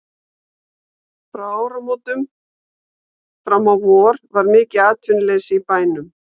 Frá áramótum fram á vor var mikið atvinnuleysi í bænum.